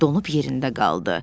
Donub yerində qaldı.